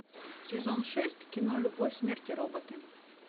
сезон шесть кино любовь смерть и роботы